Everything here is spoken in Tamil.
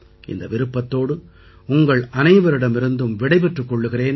இந்த விருப்பத்தோடு உங்களனைவரிடமிருந்தும் விடைபெற்றுக் கொள்கிறேன்